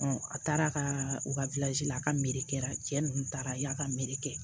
a taara ka u ka la a ka mere kɛ a cɛ nunnu taara y'a ka meri kɛ